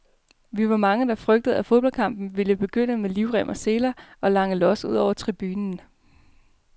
Vi var mange, der frygtede, at fodboldkampen ville begynde med livrem og seler og lange los ud over tribunen.